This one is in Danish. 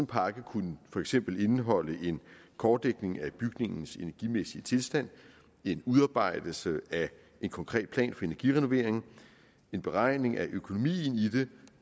pakke kunne for eksempel indeholde en kortlægning af bygningens energimæssige tilstand en udarbejdelse af en konkret plan for energirenoveringen en beregning af økonomien i det